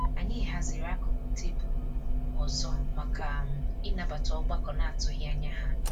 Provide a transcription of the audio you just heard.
Anyị haziri akụkụ tebụlụ um ọzọ maka um ịnabata ọgbakọ n'atụghị ányá ha.